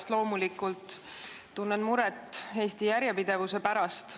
Ja loomulikult tunnen ma muret Eesti järjepidevuse pärast.